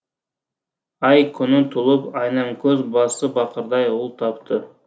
ай күні толып айнамкөз басы бақырдай ұл тапты